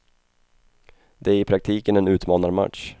Det är i praktiken en utmanarmatch.